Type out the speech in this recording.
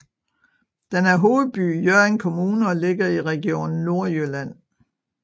Den er hovedby i Hjørring Kommune og ligger i Region Nordjylland